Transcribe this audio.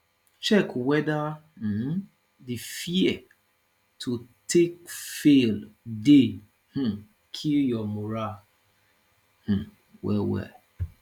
check weda um di fear to take fail dey um kill yur moral um wellwell